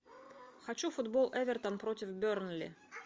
хочу футбол эвертон против бернли